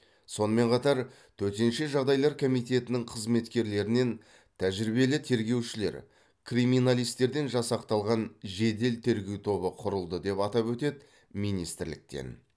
сонымен қатар төтенше жағдайлар комитетінің қызметкерлерінен тәжірибелі тергеушілер криминалистерден жасақталған жедел тергеу тобы құрылды деп атап өтеді министрліктен